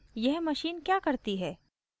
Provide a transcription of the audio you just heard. यह machine क्या करती है